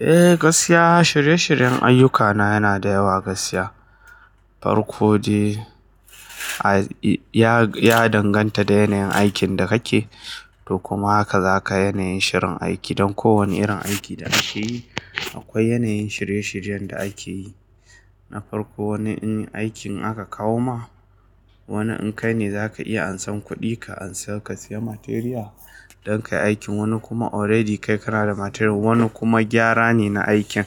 Eh, gaskiya shirye-shiryen ayyukana yana da yawa gaskiya. Farko dai, ya danganta da yanayin aikin da kake, to kuma haka za ka yanayin shirin aiki. Don kowane irin aikin da kake yi akwai yanayin shirye-shiryen da ake yi. Na farko, wani in aikin aka kawo ma, wani in kai ne za ka iya ansan kuɗi ka ansa ka siya materiya don kayi aikin. Wani kuma already kai kana da materiyar, wani kuma gyara ne na aikin.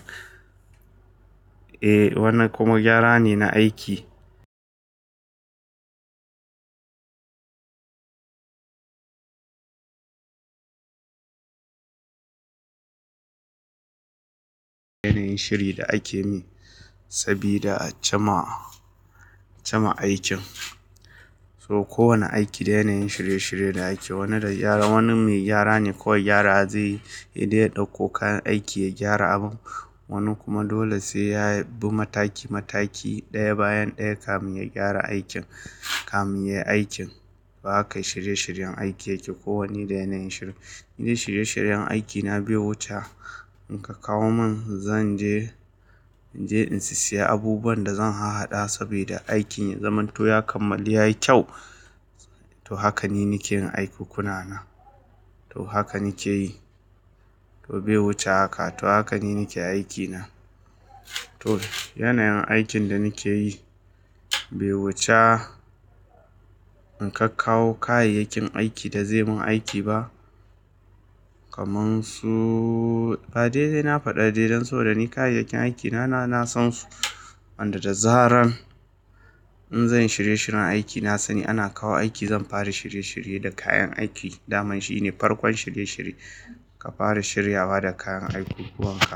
Eh, wani kuma gyara ne na aiki. Yanayin shiri da ake min sabida a chama, chama aikin. Toh kowane aiki da yanayin shirye-shiryen da ake, wani da gyara, wani mai gyara ne ko gyara zai yi, dai ya ɗauko kayan aiki ya gyara abun. Wani kuma dole sai yabi mataki mataki, ɗaya bayan ɗaya kamin ya gyara aikin, kamin yayi aikin. Haka shirye-shiryen aiki yake, ko wanne da yanayin shiri. Ni dai shirye-shiryen aikina bai wuce a, in ka kawo mun zan je, je in siya abubuwan da zan haɗa saboda aikin ya zamanto ya kammala yayi kyau. To hakan ne nake yin aikuƙunana. To haka nake yi. To bai wuce haka. To haka ni nake aikina. To yanayin aikin da nake yi bai wuce in ka kawo kayayyakin aikin da zai mun aiki ba. Kamansu, ba dai, dai na faɗa dai dan so da ni kayayyakin aikina na nasan su. Wanda da zaran in zanyi shirye-shiryen aiki na sani ana kawo aiki zan fara shirye-shirye da kayan aiki. Daman shi ne farkon shirye-shirye, ka fara shiryawa da kayan aikukkuwanka.